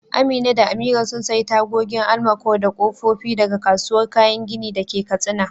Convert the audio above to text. Amina da Amira sun sayi tagogin almaco da kofofi daga kasuwar kayan gini da ke Katsina.